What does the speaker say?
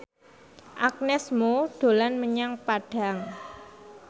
Agnes Mo dolan menyang Padang